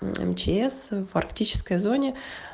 м мчс в арктической зоне